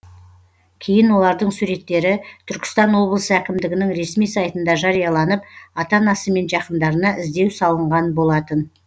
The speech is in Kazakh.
кейін олардың суреттері түркістан облысы әкімдігінің ресми сайтында жарияланып ата анасы мен жақындарына іздеу салынған болатын